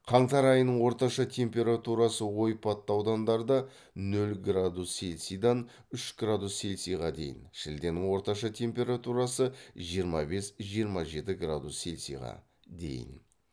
қаңтар айының орташа температурасы ойпатты аудандарда нөл градус цельсийдан үш градус цельцийға дейін шілденің орташа температурасы жиырма бес жиырма жеті градус цельцийға дейін